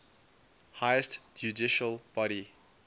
highest judicial body